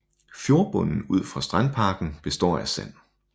Fjordbunden ud for strandparken består af sand